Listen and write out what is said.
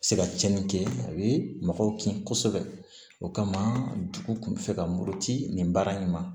Se ka cɛnni kɛ a bɛ mɔgɔw kin kosɛbɛ o kama dugu tun bɛ fɛ ka muruti nin baara in ma